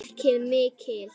Ekki mikinn.